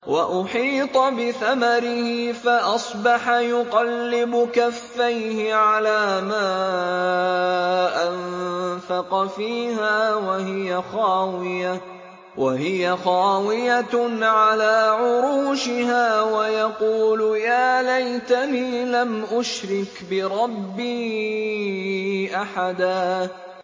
وَأُحِيطَ بِثَمَرِهِ فَأَصْبَحَ يُقَلِّبُ كَفَّيْهِ عَلَىٰ مَا أَنفَقَ فِيهَا وَهِيَ خَاوِيَةٌ عَلَىٰ عُرُوشِهَا وَيَقُولُ يَا لَيْتَنِي لَمْ أُشْرِكْ بِرَبِّي أَحَدًا